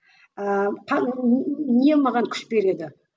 ііі не маған күш береді